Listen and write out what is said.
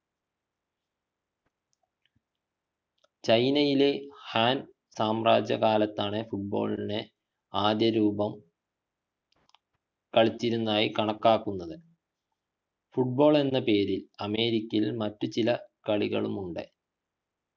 ചൈനയിലെ ഹാൻ സാമ്രാജ്യകാലത്താണ് football ളിൻ്റെ ആദ്യരൂപ കളിച്ചിരുന്നതായി കണക്കാക്കുന്നത് football എന്ന പേരിൽ അമേരിക്കയിൽ മറ്റു ചില കളികളുമുണ്ട്